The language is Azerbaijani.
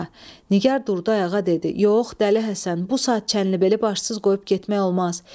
Nigar durdu ayağa dedi: "Yox, Dəli Həsən, bu saat Çənlibeli başsız qoyub getmək olmaz."